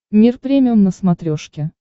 мир премиум на смотрешке